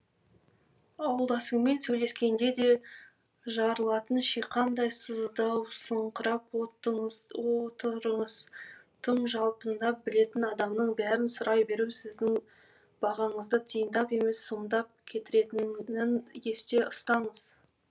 ауылдасыңмен сөйлескенде де жарылатын шиқандай сыздаусыңқырап отырыңыз тым жалпылдап білетін адамның бәрін сұрай беру де сіздің бағаңызды тиындап емес сомдап кетіретінін есте ұстаңыз